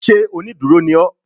Ṣé onídúró ni ó